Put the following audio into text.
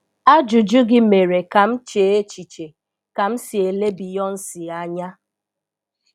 Ajụjụ gị mere ka m chee echiche ka m si ele Beyonce anya.